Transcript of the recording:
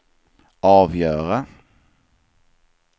avgöra